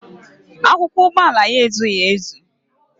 Akwụkwọ ụgbọala ya ezughị ezu